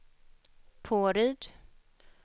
Påryd